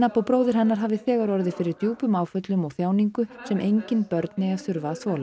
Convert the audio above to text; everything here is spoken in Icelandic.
og bróðir hennar hafi þegar orðið fyrir djúpum áföllum og þjáningu sem engin börn eigi að þurfa að þola